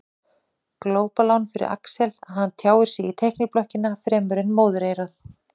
Glópalán fyrir Axel að hann tjáir sig í teikniblokkina fremur en móðureyrað.